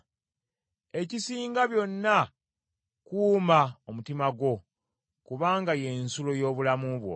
Ekisinga byonna kuuma omutima gwo, kubanga y’ensulo y’obulamu bwo.